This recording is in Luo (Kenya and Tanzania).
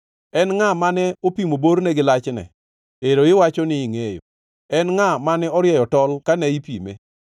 En ngʼa mane opimo borne gi lachne? Ero iwacho ni ingʼeyo! En ngʼa mane orieyo tol kane ipime?